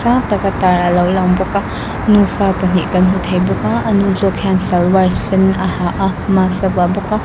tak a tar a lo lang bawk a nufa pahnih kan hmu thei bawk a a ni zawk hian salwar sen a ha a mask a vuah bawk a.